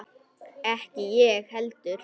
Ekki ég heldur!